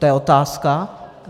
To je otázka.